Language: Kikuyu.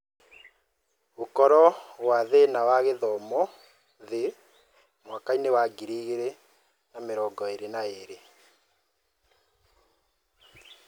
Gũkorwo gwa thĩna wa gĩthomo thĩ mwaka wa ngiri igĩrĩ na mĩrongo-ĩrĩ na ĩrĩ